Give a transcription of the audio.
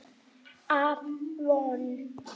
Af Von